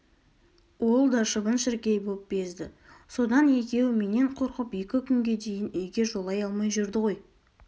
ол да шыбын-шіркей боп безді содан екеуі менен қорқып екі күнге дейін үйге жолай алмай жүрді ғой